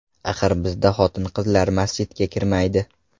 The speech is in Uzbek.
Axir bizda xotin-qizlar masjidga kirmaydi.